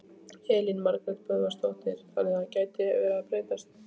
Elín Margrét Böðvarsdóttir: Þannig að þetta gæti verið að breytast?